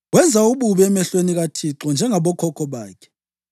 Wenza ububi emehlweni kaThixo njengabokhokho bakhe.